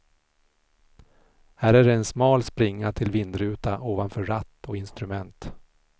Här är det en smal springa till vindruta ovanför ratt och instrument.